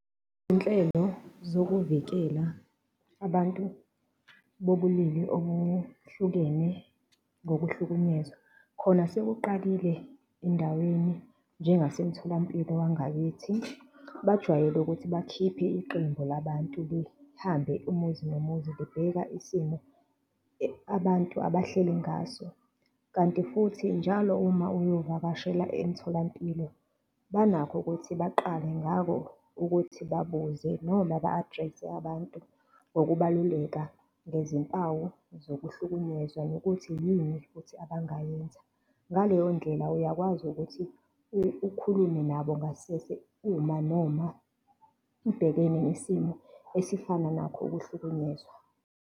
Izinhlelo zokuvikela abantu bobulili obuhlukene ngokuhlukunyezwa, khona sekuqalile endaweni, njengasemtholampilo wangakithi. Bajwayele ukuthi bakhiphe iqembu labantu, behambe umuzi nomuzi bebheka isimo abantu abahleli ngaso. Kanti futhi njalo uma uyovakashela emtholampilo banakho ukuthi baqale ngakho ukuthi babuze noma ba-address-e abantu ngokubaluleka, ngezimpawu zokuhlukunyezwa nokuthi yini futhi abangayenza, ngaleyo ndlela uyakwazi ukuthi ukhulume nabo ngasese, uma noma ubhekene nesimo esifana nakho ukuhlukunyezwa.